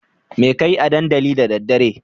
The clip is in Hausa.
Me kakeyi a dandali da daddare?